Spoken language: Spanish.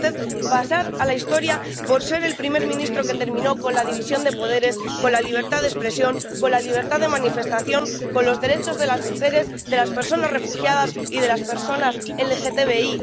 ¿Quiere usted pasar a la historia por ser el primer ministro que terminó con la división de poderes, con la libertad de expresión, con la libertad de manifestación, con los derechos de las mujeres, de las personas refugiadas y de las personas LGTBI?